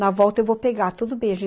Na volta eu vou pegar, tudo bem. A gente